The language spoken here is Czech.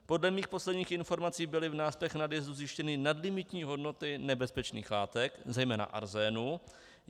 Podle mých posledních informací byly v náspech nadjezdu zjištěny nadlimitní hodnoty nebezpečných látek, zejména arzénu.